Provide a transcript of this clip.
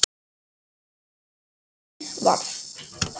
Úr því varð.